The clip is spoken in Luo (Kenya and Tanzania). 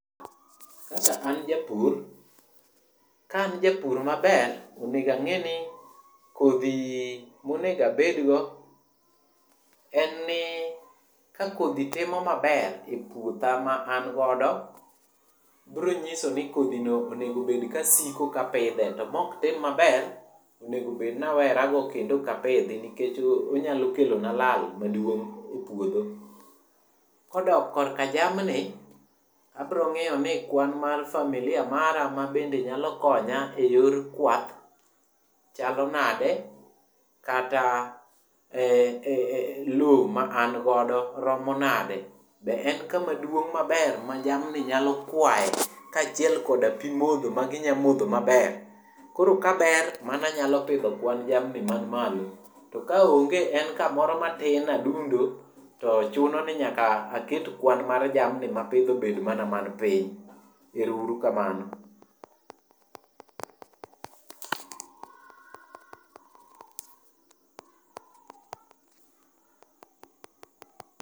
Kaka an japur, ka an japur maber, onego ang'eni kodhi monego abedgo en ni ka kodhi timo maber e puotha ma an godo, bro nyiso ni kodhi no onego obed kasiko kapidhe, to moktim maber, onego obed nawerago kendo ok apidhi nikech onyalo kelona lal maduong' e puodho. Kodok korka jamni, abro ng'iyo ni kwan mar familia mara ma bende nyalo konya e yor kwath chalo nade kata lowo ma an godo romo nade, be en kama duong' maber ma jamni nyalo kwaye kaachiel koda pi modho magi nya modho maber. Koro kabermano anyalo pidho kwan jamni manimalo. To ka onge, en kamoro matin adundo to chuno ni nyaka aket kwan mar jamni mapidho obed mana man piny. Ero uru kamano.